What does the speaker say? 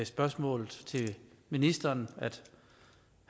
spørgsmål til ministeren